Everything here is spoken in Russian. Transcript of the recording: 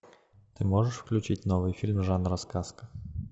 ты можешь включить новый фильм жанра сказка